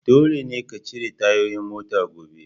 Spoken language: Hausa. Dole ne ka cire tayoyin mota gobe!